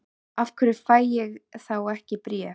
Af hverju fæ ég þá ekki bréf?